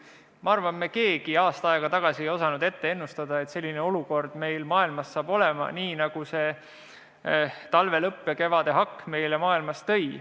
Ma arvan, et me keegi ei osanud aasta aega tagasi ennustada, et maailmas tekib selline olukord, nagu talve lõpp ja kevade hakk meile tõid.